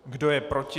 Kdo je proti?